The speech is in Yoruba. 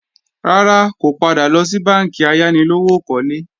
Rárá, kò padà lọ sí bánkì ayánilówókọ́lé